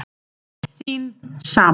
Þín sama